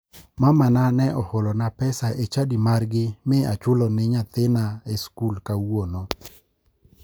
Mamana ne oholona pesa e chadi margi mi achulo ni nyathina e skul kawuono.